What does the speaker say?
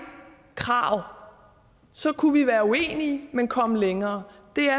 krav så kunne vi være uenige men komme længere det er